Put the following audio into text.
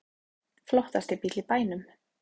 Flottasti bíll í bænum